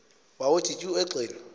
wawnthi tyu egxeni